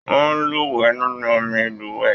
Wọn luwẹ̀ nínú omí ilúwẹ.